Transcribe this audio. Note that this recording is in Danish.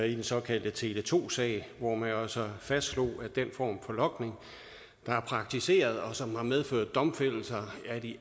i den såkaldte tele2 sag hvor man jo altså fastslog at den form for logning der er praktiseret og som har medført domfældelse af de